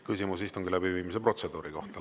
Küsimus istungi läbiviimise protseduuri kohta.